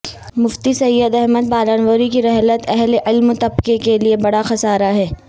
مفتی سعید احمد پالنپوری کی رحلت اہل علم طبقہ کے لئے بڑا خسارہ ہے